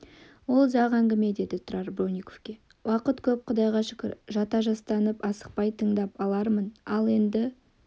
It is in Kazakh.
ол ұзақ әңгіме деді тұрар бронниковке уақыт көп құдайға шүкір жата-жастанып асықпай тыңдап алармын ал енді